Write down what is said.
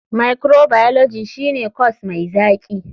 Microbiology shine corse mai zaki.